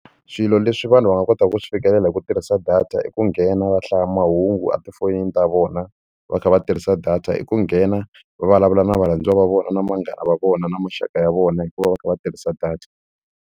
Swilo leswi vanhu va nga kotaka ku swi fikelela hi ku tirhisa data i ku nghena va hlaya mahungu etifonini ta vona va kha va tirhisa data i ku nghena va vulavula na varhandziwa va vona na vanghana va vona na maxaka ya vona hikuva va kha va tirhisa data.